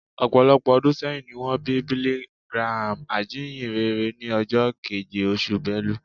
Ọ̀pọ̀lọpọ̀ ọdún sẹ́yìn ni wọ́n bí Billy Graham, ajínyìnrere, ní ọjọ́ keje, oṣù Belu